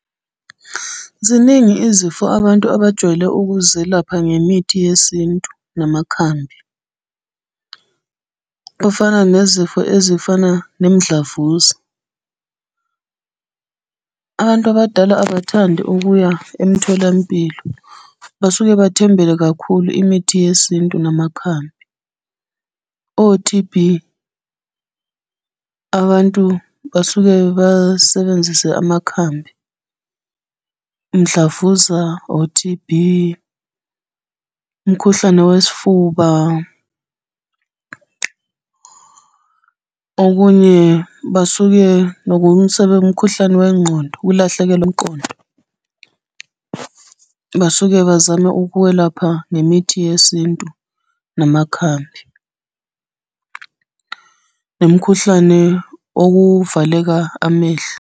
Ziningi izifo abantu abajwayele ukuzelapha ngemithi yesintu namakhambi. Kufana nezifo ezifana nemidlavuza. Abantu abadala abathandi ukuya emtholampilo, basuke bathembele kakhulu imithi yesintu namakhambi. O-T_B, abantu basuke basebenzise amakhambi. Mdlavuza, o-T_B, umkhuhlane wesifuba. Okunye basuke umkhuhlane wengqondo ukulahlekelwa umqondo. Basuke bazama ukwelapha ngemithi yesintu namakhambi nomkhuhlane okuvaleka amehlo.